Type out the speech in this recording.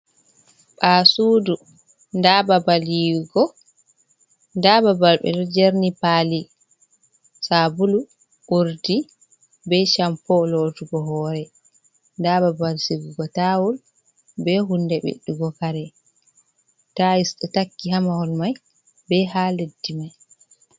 Bawoasudu da ɓaɓal yiwugo da ɓaɓal ɓedo jerni pali sabulu, urdi be shampo lotugo hore da babal sigugo tawol be hunde ɓedugo kare tayis do takki hamahol mai be ha leddi mai.